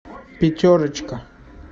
пятерочка